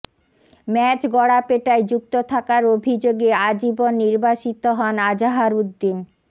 match গড়াপেটায় যুক্ত থাকার অভিযোগে আজীবন নির্বাসিত হন আজাহারউদ্দিন